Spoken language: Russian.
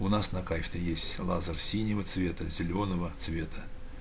у нас на кафедре есть лазер синего цвета зелёного цвета